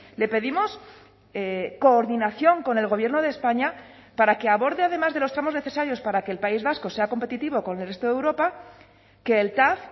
le pedimos coordinación con el gobierno de españa para que aborde además de los tramos necesarios para que el país vasco sea competitivo con el resto de europa que el tav